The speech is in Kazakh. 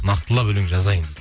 нақтылап өлең жазайын